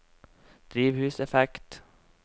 drivhuseffekt